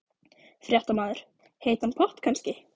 Fréttamaður: Heitan pott kannski?